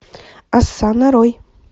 оса нарой